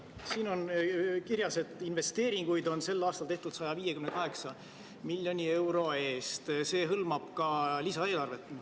Siin on kirjas, et investeeringuid on sel aastal tehtud 158 miljoni euro eest, see hõlmab ka lisaeelarvet.